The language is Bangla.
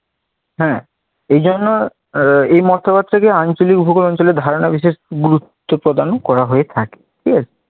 হ্যাঁ এজন্য আহ এই মতবাদটিকে আঞ্চলিক ভোগৌলিক অঞ্চলে ধারণা বিশেষ গুরুত্ব প্রদান করা হয়ে থাকে ঠিক আছে